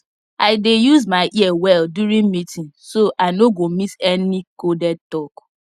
i dey use my ear well during meeting so i no go miss any coded talk